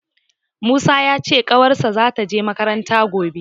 Musa ya ce ƙanwarsa za ta je makaranta gobe